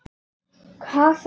Hasar, segir hann.